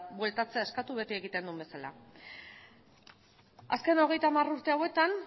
bueltatzea eskatu beti egiten duen bezala azken hogeita hamar urte hauetan